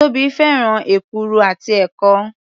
Tóbi fẹ́ràn èkuru àti ẹ̀kọ.